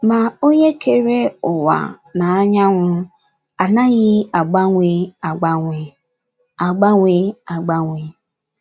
Ma Onye kere ụwa na anyanwụ anaghị agbanwe agbanwe. agbanwe agbanwe.